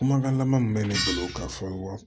Kumakan laban min bɛ ne bolo ka fɔ wa